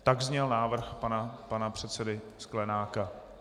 Tak zněl návrh pana předsedy Sklenáka.